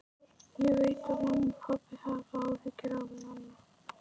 Ég veit að mamma og pabbi hafa áhyggjur af Nonna.